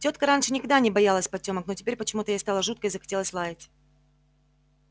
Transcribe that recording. тётка раньше никогда не боялась потёмок но теперь почему-то ей стало жутко и захотелось лаять